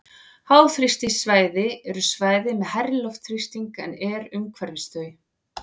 Háþrýstisvæði eru svæði með hærri loftþrýsting en er umhverfis þau.